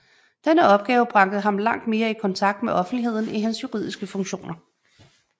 Denne opgave bragte ham langt mere i kontakt med offentligheden end hans juridiske funktioner